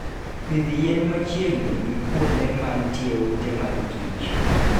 Pidh yien machiegni gi kuonde ma nitie ute mag kich